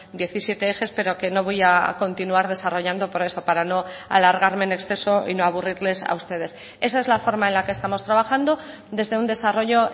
diecisiete ejes pero que no voy a continuar desarrollando por eso para no alargarme en exceso y no aburrirles a ustedes esa es la forma en la que estamos trabajando desde un desarrollo